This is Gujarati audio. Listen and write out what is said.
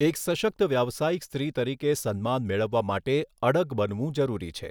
એક સશકત વ્યવસાયિક સ્ત્રી તરીકે સન્માન મેળવવા માટે અડગ બનવું જરૂરી છે.